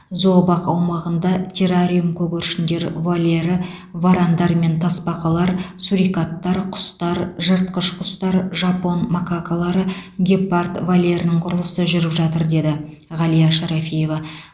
зообақ аумағында террариум көгершіндер вольері варандар мен тасбақалар сурикаттар құстар жыртқыш құстар жапон макакалары гепард вольерінің құрылысы жүріп жатыр деді ғалия шарафиева